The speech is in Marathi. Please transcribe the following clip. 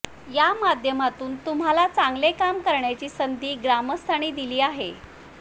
या माध्यमातून तुम्हांला चांगले काम करण्याची संधी ग्रामस्थांनी दिली आहे